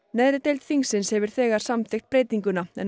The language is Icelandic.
neðri deild þingsins hefur þegar samþykkt breytinguna en